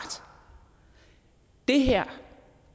det her